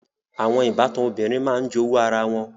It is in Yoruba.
Àwọn ìbátan obìnrin máa ń jowú ara wọn